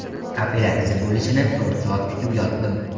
Operatsiya bo‘lishini to‘rt soat kutib yotdim.